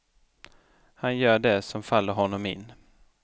Han gör det som faller honom in.